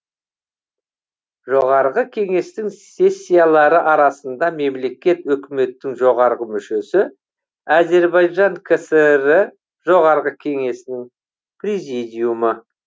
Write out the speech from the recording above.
жоғарғы кеңестің сессиялары арасында мемлекет өкіметтің жоғарғы мүшесі азербайжан кср і жоғарғы кеңесінің президиумы